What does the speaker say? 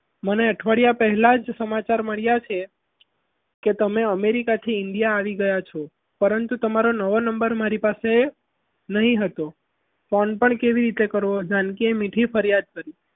મને અઠવાડિયા પહેલા જ સમાચાર મળ્યા છે કે તમે america થી india આવી ગયા છો પરંતુ તમારો નવો number મારી પાસે નહીં હતો phone પણ કઈ રીતે કરવો જાનકી એ મીઠી ફરિયાદ કરી.